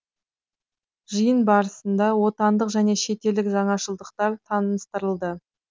жиын барысында отандық және шетелдік жаңашылдықтар таныстырылды